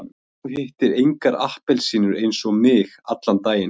Og þú hittir engar appelsínur eins og mig, allan daginn.